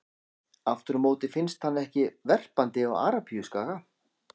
Aftur á móti finnst hann ekki verpandi á Arabíuskaga.